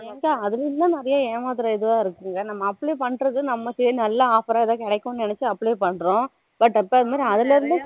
ஏம்பா அதுலயும் தான் நிறைய ஏமாத்துர இதுவா இருக்குங்க நம்ம apply பண்ணுறது நம்ம side நல்லா offer கிடைக்கும்தான் நினைச்சி apply பண்ணுறோம் but